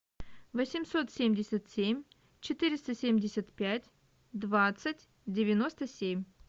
восемьсот семьдесят семь четыреста семьдесят пять двадцать девяносто семь